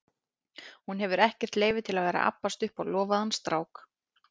Hún hefur ekkert leyfi til að vera að abbast upp á lofaðan strák.